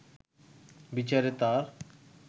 বিচারে তাঁর